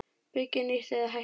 Byggja nýtt- eða hætta?